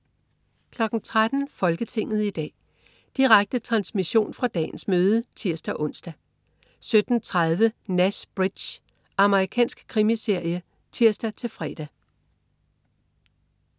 13.00 Folketinget i dag. Direkte transmission fra dagens møde (tirs-ons) 17.30 Nash Bridges. Amerikansk krimiserie (tirs-fre)